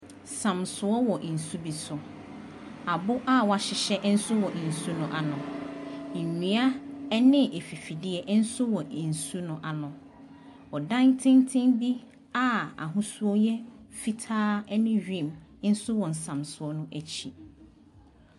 Samsoɔ wɔ nsu bi so. Abo a wɔahyehyɛ nso wɔ nsu no ano. Nnua ne afifideɛ nso wɔ nsu no ano. Ɔdan tenten bi a ahosuo yɛ fitaa ne wim nso wɔ nsamsoɔ no akyi.